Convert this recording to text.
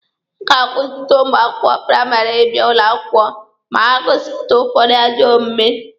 A ga-akwụsịtụ ụmụ akwụkwọ praịmarị ịbịa ụlọ akwụkwọ ma ha gosipụta ụfọdụ ajọ omume.